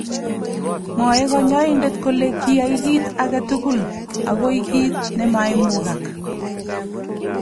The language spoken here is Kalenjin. Mwaei konyoindet kole kiyai "kit age tugul , agoi kiit nemaimugak".